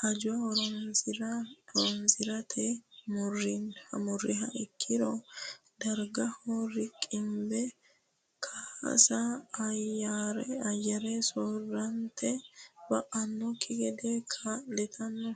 hajora horonsi rate murriha ikkiro dargaho riqimbe kaasa ayyare soorrante ba annokki gede kaa litanno.